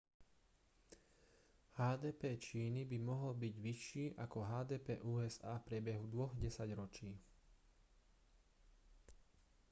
hdp číny by mohol byť vyšší ako hdp usa v priebehu dvoch desaťročí